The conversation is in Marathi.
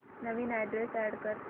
नवीन अॅड्रेस अॅड कर